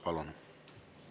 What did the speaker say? Palun!